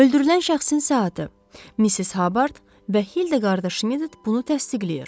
Öldürülən şəxsin saatı, Missis Habard və Hildəqarda Şimidt bunu təsdiqləyir.